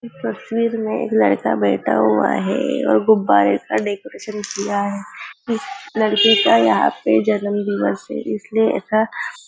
इस तस्वीर में लड़का बैठा हुआ है और गुब्बारे का डेकोरेशन किया है इस लडके का यहा पे जन्मदिवस ये इसलिए ऐसा --